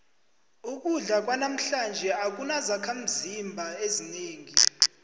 ukudla kwanamhlanje akunazakhimzimba ezinengi